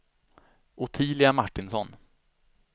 Ottilia Martinsson